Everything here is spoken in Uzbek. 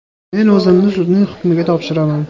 Men o‘zimni sudning hukmiga topshiraman.